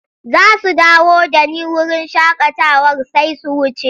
Za su dawo da ni wurin shakatawar sai su wuce.